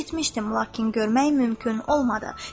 Eşitmişdim, lakin görmək mümkün olmadı.